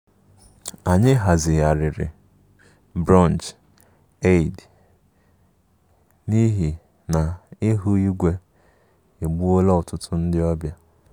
Anyị hazigharịrị brunch Eid n'ihi na ihu igwe egbuola ọtụtụ ndị ọbịa